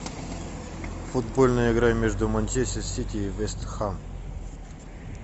футбольная игра между манчестер сити и вест хэм